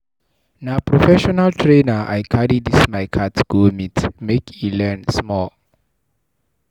Na prefessional trainer I carry dis my cat go meet, make e learn small.